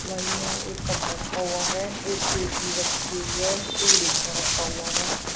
Side में एक cup रखा हुआ है एक केतली रखी हुई है एक डिब्बा रखा हुआ है।